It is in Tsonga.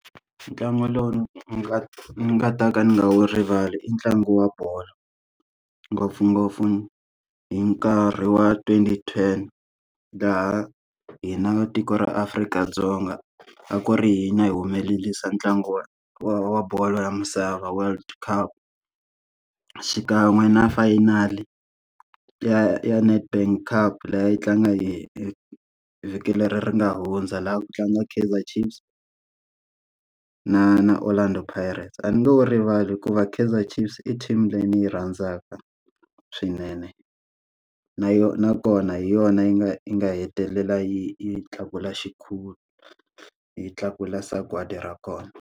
Ntlangu lowu ni nga ni nga ta ka ni nga wu rivali i ntlangu wa bolo. Ngopfungopfu hi nkarhi wa twenty ten, laha hina tiko ra Afrika-Dzonga a ku ri hanya hi humelerisa ntlangu wa wa wa bolo ya misava world cup. Xikan'we na fayinali ya ya Nedbank cup leyi a yi tlanga hi hi vhiki leri ri nga hundza, laha ku tlanga Kaiser Chiefs na na Orlando Pirates. A ni nge wu rivali hikuva Kaiser Chiefs i team leyi ni yi rhandzaka swinene. Na yo nakona hi yona yi nga yi nga hetelela yi yi tlakula xikhumba yi tlakula sagwadi ra kona.